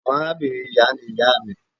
Awọn arabinrin iya ni iya mi.